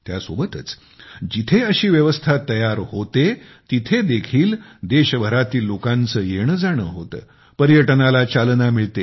त्यासोबतच जिथे अशी व्यवस्था तयार होते आहे तिथे देखील देशभरातील लोकांचे येणे जाणे होते पर्यटनाला चालना मिळते